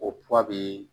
O kura bɛ